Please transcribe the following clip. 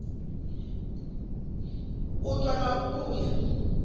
u ṱwa na u vhuya